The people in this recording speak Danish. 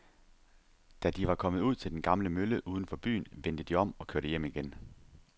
Da de var kommet ud til den gamle mølle uden for byen, vendte de om og kørte hjem igen.